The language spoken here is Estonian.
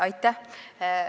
Aitäh!